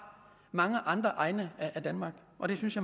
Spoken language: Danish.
mange andre egne af danmark og det synes jeg